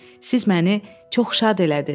Siz məni çox şad elədiz.